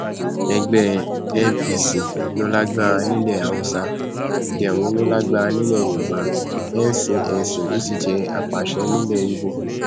ẹgbẹ npc ló lágbára nílẹ haúsá demo ló lágbára nílẹ yorùbá ncnc ló sì jẹ àpàṣe nílẹ ibo